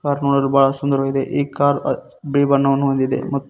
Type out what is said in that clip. Car ನೋಡಲು ಬಹಳ ಸುಂದರವಾಗಿದೆ ಈ ಕಾರ್ ಬಿಳಿ ಬಣ್ಣವನ್ನು ಹೊಂದಿದೆ.